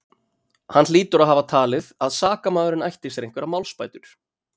Hann hlýtur að hafa talið, að sakamaðurinn ætti sér einhverjar málsbætur.